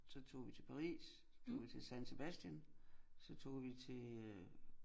Så tog vi til Paris så tog vi til San Sebastian så tog vi til øh